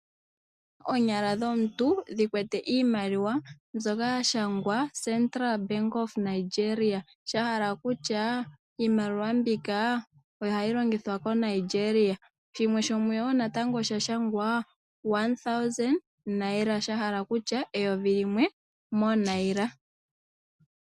Oonyala dhomuntu dha kwata iimaliwa mbyono ya shangwa "Central Bank of Nigeria", shahala kutya iimaliwa mbika ohayi longithwa moNigeria, shimwe shomuyo natango osha shangwa "1000 Naira", shahala kutya eyovi limwe mooNaira.